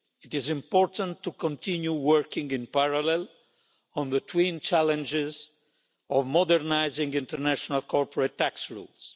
It is important to continue working in parallel on the twin challenges of modernising international corporate tax rules.